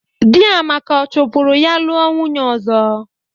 Di Amaka ọ chopụrụ ya lụa nwunye ọzọ?